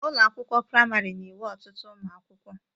Ụlọ akwụkwọ praịmarị na-enwe ọtụtu ụmụ akwuụkwọ.